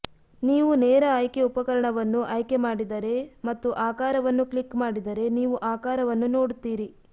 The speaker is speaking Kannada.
ನೀವು ನೇರ ಆಯ್ಕೆ ಉಪಕರಣವನ್ನು ಆಯ್ಕೆ ಮಾಡಿದರೆ ಮತ್ತು ಆಕಾರವನ್ನು ಕ್ಲಿಕ್ ಮಾಡಿದರೆ ನೀವು ಆಕಾರವನ್ನು ನೋಡುತ್ತೀರಿ